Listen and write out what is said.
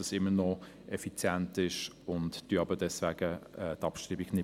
Deswegen bestreiten wir die Abschreibung nicht.